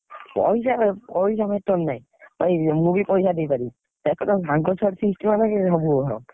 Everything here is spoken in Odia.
ପଇସା କଣ ପଇସା ଖର୍ଚ, ପଇସା ଦେଇ ପାରିବି, ସେକଥା ସାଙ୍ଗ ଛୁଆର feast ହବ ସବୁ ହବ।